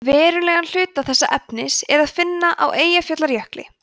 verulegan hluta þess efnis er að finna á eyjafjallajökli